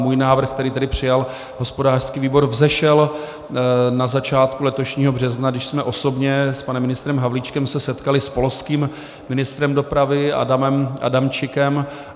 Můj návrh, který tedy přijal hospodářský výbor, vzešel na začátku letošního března, když jsme osobně s panem ministrem Havlíčkem se setkali s polským ministrem dopravy Adamem Adamczykem .